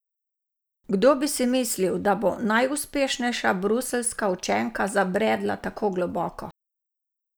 Kdo bi si bil mislil, da bo najuspešnejša bruseljska učenka zabredla tako globoko?